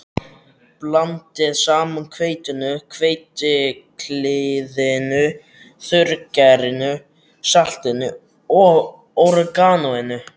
Blandið saman hveitinu, hveitiklíðinu, þurrgerinu, saltinu og óreganóinu.